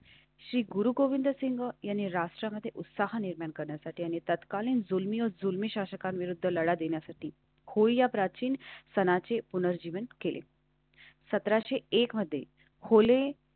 श्री गुरु गोविंद सिंह यांनी राष्ट्रीयमध्ये उत्साह निर्माण करण्यासाठी आणि तत्कालीन जुलमी जुलमी शासकाविरुद्ध लढा देण्यासाठी होय. या प्राचीन सनाचे पुनर्जीवन केलेसतराशे एक मध्ये खोले.